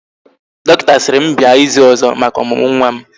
Dọkịta sịrị m bịa ịzụ ọzọ maka ọmụmụ nwa m